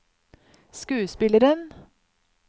skuespilleren